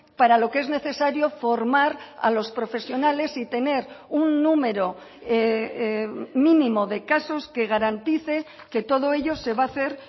para lo que es necesario formar a los profesionales y tener un número mínimo de casos que garantice que todo ello se va a hacer